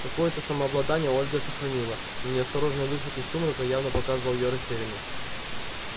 какое-то самообладание ольга сохранила но неосторожный выход из сумрака явно показывал её растерянность